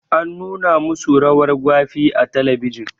An nuna ma su rawar gwafe a talabijin